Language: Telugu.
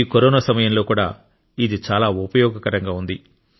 ఈ కరోనా సమయంలో కూడా ఇది చాలా ఉపయోగకరంగా ఉంది